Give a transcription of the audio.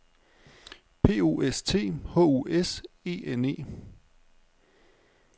P O S T H U S E N E